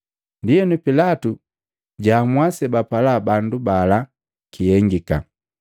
Ndienu Pilatu jaamua sebapala bandu bala kihengika.